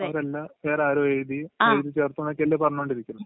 അവരല്ല, വേറെ ആരോ എഴുതി, എഴുതി ചേർത്ത് എന്നൊക്കെയല്ലേ പറഞ്ഞോണ്ടിരിക്കുന്നേ...